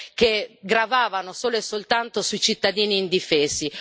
che gravavano solo e soltanto sui cittadini indifesi.